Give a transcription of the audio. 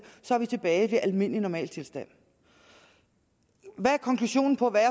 så er vi tilbage ved almindelig normaltilstand hvad er konklusionen på hvad